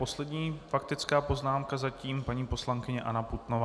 Poslední faktická poznámka zatím - paní poslankyně Anna Putnová.